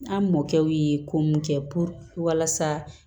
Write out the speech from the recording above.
An mɔkɛw ye ko mun kɛ walasa